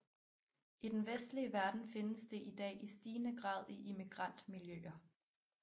I den vestlige verden findes det i dag i stigende grad i immigrantmiljøer